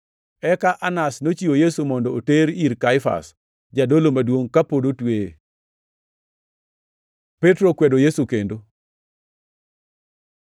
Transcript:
Eka Anas nochiwo Yesu mondo oter ir Kaifas, jadolo maduongʼ, ka pod otweye. Petro okwedo Yesu kendo